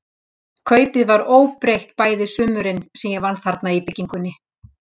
Kaupið var óbreytt bæði sumurin, sem ég vann þarna í byggingunni.